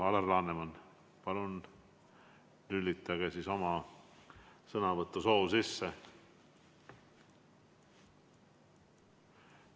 Alar Laneman, palun lülitage oma sõnavõtusoov sisse!